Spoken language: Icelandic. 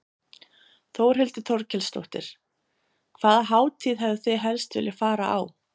Þórhildur Þorkelsdóttir: Hvaða hátíð hefðuð þið helst viljað fara á?